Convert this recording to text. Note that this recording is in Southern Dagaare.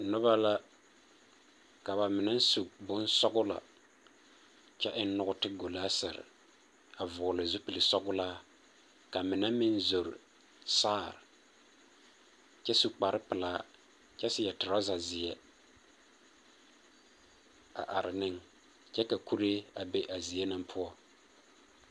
Noba la, ka ba mine su bonsͻgelͻ kyԑ eŋ nͻͻte golaasere, a vͻgele zupili sͻgelaa ka mine meŋ zo saa kyԑ su kpare pelaa kyԑ seԑ torͻza zeԑ, a are ne kyԑ ka kue mine be a zie na poͻ.